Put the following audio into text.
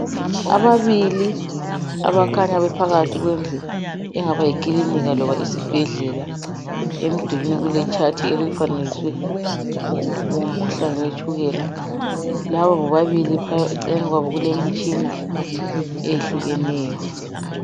Ababili abakhanya bephakathi kwendlu okuthwa yiclinika loba isibhedlela emdulwini kule chart elifanekiswe umkhuhlane wetshukela laba bobabili eceleni lwabo kule mtshina eyehlukeneyo